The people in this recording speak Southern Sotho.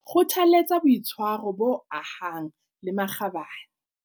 Kgothaletsa boitshwaro bo ahang le makgabane.